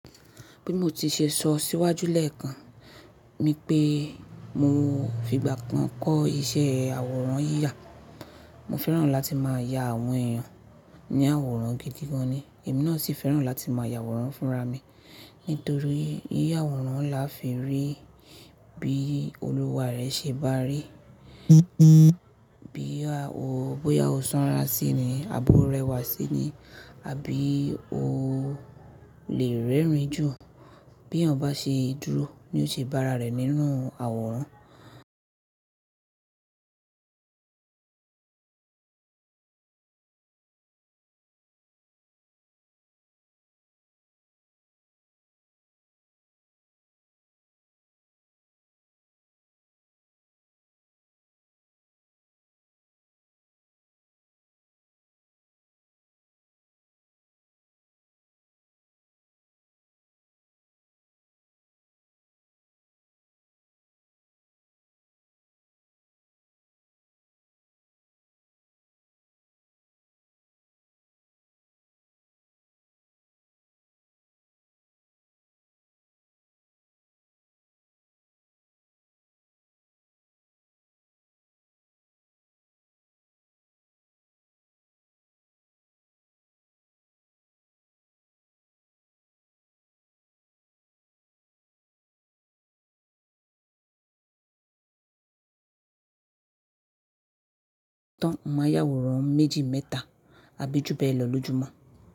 Bí mo ti ṣe sọ síwájú lẹ́ẹ̀kan nipé mo fi ìgbà kan kọ́ iṣẹ́ àwòrán yíya, mo fẹ́ràn láti máa ya àwọn èèyàn ní àwòrán gidi gan ni. Èmi náà sì fẹ́ràn láti máa ya àwòrán fúnra mi nítorí yí ya àwòrán la fi rí bí olúwa rẹ ṣe bá rí, bí bóyá o sanra sí i ni, àbọ́ rẹ wà sí i ni àbí o lè rẹ́rìn jú bí ọ̀ bá ṣe dúró ní ó ṣe bá ara rẹ̀ nínú àwòrán. Tán máa ya àwòrán méjì mẹ́ta àbí júbẹ̀ lọ lójumo.